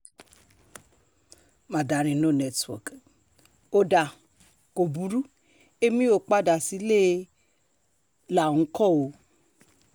mandarin no network ó dáa kó burú èmi ó padà sílé láńkó o